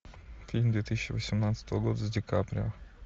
фильм две тысячи восемнадцатого года с ди каприо